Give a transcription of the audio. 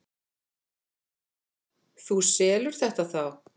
Þú selur þetta þá?